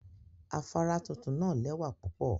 Afara tuntun naa lewa pupo